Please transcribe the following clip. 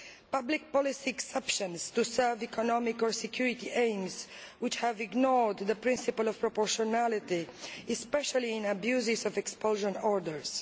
public policy exceptions to serve economic or security aims which have ignored the principle of proportionality, especially in abuses of expulsion orders